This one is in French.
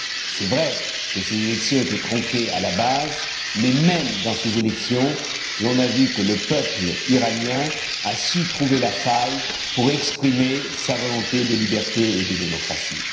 C'est vrai que ces élections étaient tronquées à la base mais même dans ces élections, on a vu que le peuple iranien a su trouver la faille pour exprimer sa volonté de liberté et de démocratie.